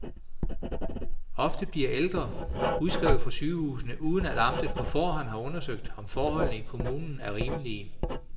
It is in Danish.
Ofte bliver ældre udskrevet fra sygehusene, uden at amtet på forhånd har undersøgt, om forholdene i kommunen er rimelige.